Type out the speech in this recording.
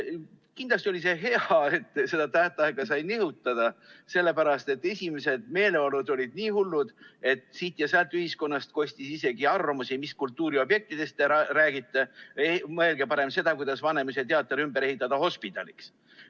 Kindlasti oli see hea, et seda tähtaega sai nihutada, sest esimesed meeleolud olid nii hullud, et siit ja sealt ühiskonnast kostis isegi arvamusi, et mis kultuuriobjektidest te räägite, mõelge parem seda, kuidas Vanemuise teater ehitada ümber hospidaliks.